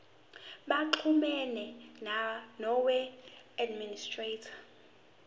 baxhumane noweb administrator